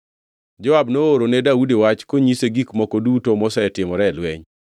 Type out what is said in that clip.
Joab nooro wach ne Daudi konyise gik moko duto mosetimore e lweny.